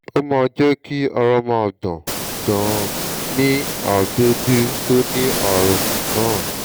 ẹ ǹlẹ́ o dókítà ara mi kò yá ní ẹsẹ̀ mi méjèèjì